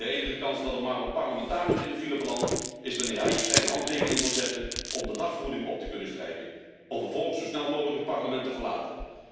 De enige kans dat een parlementariër in de file belandt, is wanneer hij of zij een handtekening wil zetten om de dagvergoeding op te kunnen strijken, om vervolgens zo snel mogelijk het parlement te verlaten.